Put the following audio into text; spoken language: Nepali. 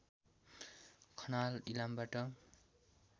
खनाल इलामबाट